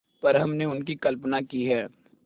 पर हमने उनकी कल्पना ही है